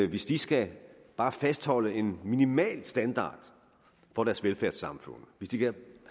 hvis de skal bare fastholde en minimal standard for deres velfærdssamfund hvis de